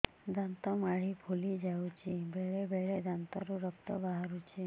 ଦାନ୍ତ ମାଢ଼ି ଫୁଲି ଯାଉଛି ବେଳେବେଳେ ଦାନ୍ତରୁ ରକ୍ତ ବାହାରୁଛି